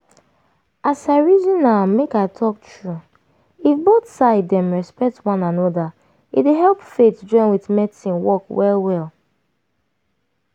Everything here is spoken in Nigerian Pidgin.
as i reason am make i talk true if both side dem respect one anoda e dey help faith join with medicine work well well.